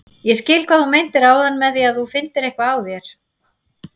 Ég skil hvað þú meintir áðan með að þú finndir eitthvað á þér.